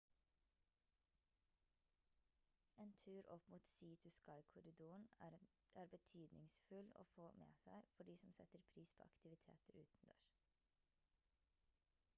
en tur opp mot sea to sky-korridoren er betydningsfull å få med seg for de som setter pris på aktiviteter utendørs